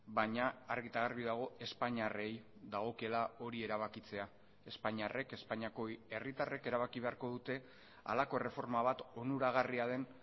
baina argi eta garbi dago espainiarrei dagokiela hori erabakitzea espainiarrek espainiako herritarrek erabaki beharko dute halako erreforma bat onuragarria den